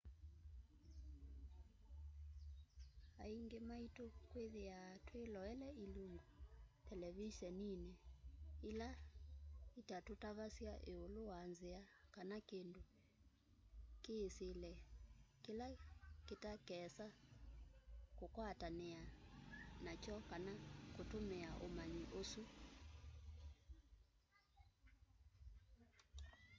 aingĩ maitũ twĩthĩaa twĩloele ilungu televiseninĩ ila itatũtavasya ĩũlũ wa nzĩa kana kĩndũ kĩĩsĩle kĩla tũtakeesa ũkwatanĩa nakyo kana kũtũmĩa ũmanyi ũsu